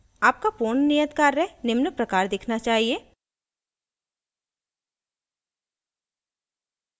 आपका पूर्ण नियत कार्य निम्न प्रकार दिखना चाहिए